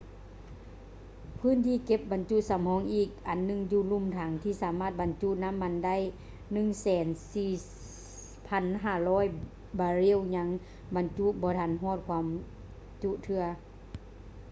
ພື້ນທີ່ເກັບບັນຈຸສຳຮອງອີກອັນໜຶ່ງຢູ່ລຸ່ມຖັງ ທີ່ສາມາດບັນຈຸນໍ້າມັນໄດ້ 104,500 ບາເຣວ ຍັງບັນຈຸບໍ່ທັນຮອດຄວາມຈຸເທື່ອ